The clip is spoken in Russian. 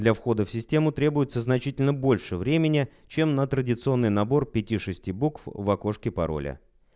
для входа в систему требуется значительно больше времени чем на традиционный набор пяти шести букв в окошке пароля